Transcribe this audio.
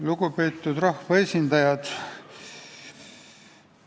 Lugupeetud rahvaesindajad!